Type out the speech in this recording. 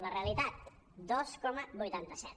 la realitat dos coma vuitanta set